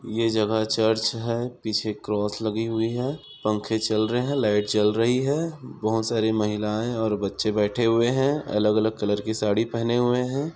ये जगह चर्च है पीछे क्रॉस लगी हुई है पंखे चल रहे हैं लाइट जल रही है बहुत सारी महिलाएं और बच्चे बैठे हुए हैं अलग-अलग कलर की साड़ी पहने हुए हैं।